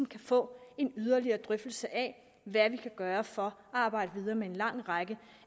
kan få en yderligere drøftelse af hvad vi kan gøre for at arbejde videre med en lang række